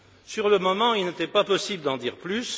Sur le moment, il n'était pas possible d'en dire plus.